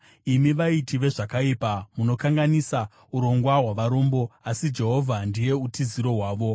Imi vaiti vezvakaipa, munokanganisa urongwa hwavarombo, asi Jehovha ndiye utiziro hwavo.